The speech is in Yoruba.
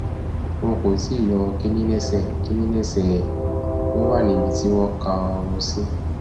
wọn kò tí ì yọ kínní lẹsẹ kínní lẹsẹ ẹ ó wà níbi tí wọn kà á rò sí